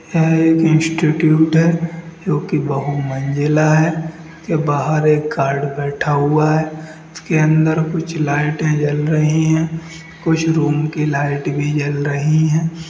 यह एक इंस्टिट्यूट है जो कि बहुमंजिला है इसके बाहर एक गार्ड बैठा हुआ है उसके अंदर कुछ लाइटे जल रही है कुछ रूम की लाइट भी जल रही है।